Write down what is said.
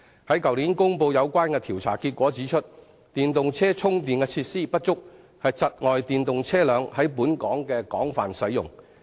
於去年公布的調查結果顯示，電動車充電設施不足，窒礙電動車在本港的廣泛使用。